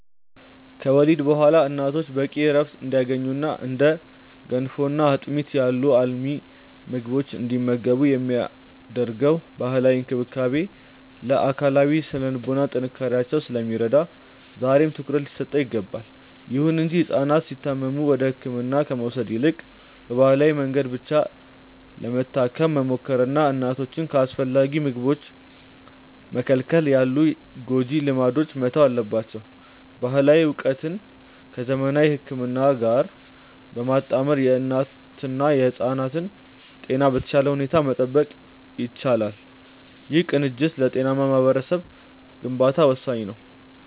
ከወሊድ በኋላ እናቶች በቂ ዕረፍት እንዲያገኙና እንደ ገንፎና አጥሚት ያሉ አልሚ ምግቦችን እንዲመገቡ የሚደረገው ባህላዊ እንክብካቤ ለአካላዊና ለሥነ-ልቦና ጥንካሬያቸው ስለሚረዳ ዛሬም ትኩረት ሊሰጠው ይገባል። ይሁን እንጂ ሕፃናት ሲታመሙ ወደ ሕክምና ከመውሰድ ይልቅ በባህላዊ መድኃኒት ብቻ ለመታከም መሞከርና እናቶችን ከአስፈላጊ ምግቦች መከልከል ያሉ ጎጂ ልማዶች መተው አለባቸው። ባህላዊ ዕውቀትን ከዘመናዊ ሕክምና ጋር በማጣመር የእናትና የሕፃናትን ጤና በተሻለ ሁኔታ መጠበቅ ይቻላል። ይህ ቅንጅት ለጤናማ ማኅበረሰብ ግንባታ ወሳኝ ነው።